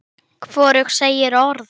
Þeir voru í sjötta bekk.